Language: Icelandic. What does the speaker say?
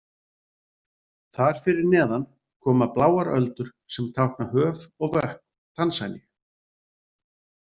Þar fyrir neðan koma bláar öldur sem tákna höf og vötn Tansaníu.